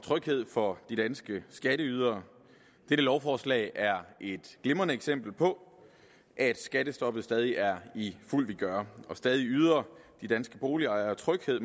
tryghed for de danske skatteydere dette lovforslag er et glimrende eksempel på at skattestoppet stadig er i fuld vigør og stadig yder de danske boligejere tryghed